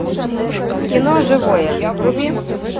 кино живое вруби